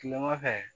Kilema fɛ